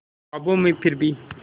ख्वाबों में फिर भी